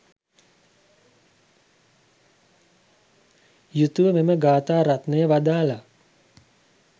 යුතුව මෙම ගාථාරත්නය වදාළා.